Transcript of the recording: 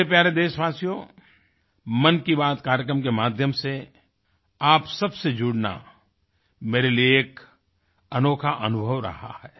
मेरे प्यारे देशवासियो मन की बात कार्यक्रम के माध्यम से आप सब से जुड़ना मेरे लिए एक अनोखा अनुभव रहा है